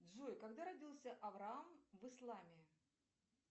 джой когда родился авраам в исламе